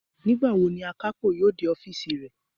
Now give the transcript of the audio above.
Nígbàwo ni àkápò yóò dé ọ́fììsì rẹ̀?